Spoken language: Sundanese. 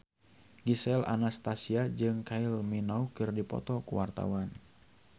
Gisel Anastasia jeung Kylie Minogue keur dipoto ku wartawan